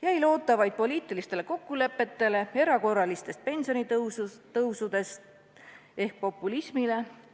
Jäi loota vaid poliitilistele kokkulepetele erakorraliste pensionitõusude kohta ehk populismile.